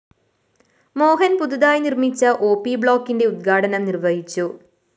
മോഹന്‍ പുതുതായി നിര്‍മ്മിച്ച ഒപി ബ്ലോക്കിന്റെ ഉദ്ഘാടനം നിര്‍വ്വഹിച്ചു